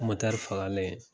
Motɛri fagalen